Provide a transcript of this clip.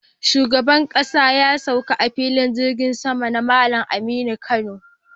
Shugaban ƙasa ya sauka a Filin jirgin sama na Malam Aminu Kano